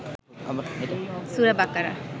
সুরা বাকারা